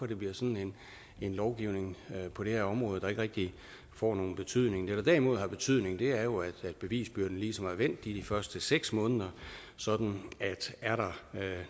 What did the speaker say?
det bliver sådan en lovgivning på det her område der ikke rigtig får nogen betydning det der derimod har betydning er jo at bevisbyrden ligesom er vendt de første seks måneder sådan at er der